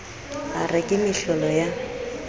a re ke mehlehlo ya